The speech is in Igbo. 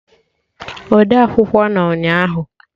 Odeakwụkwọ nọ ụnyaahụ